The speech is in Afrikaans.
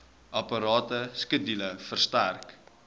aparte skedule verstrek